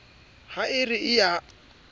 ha e re e a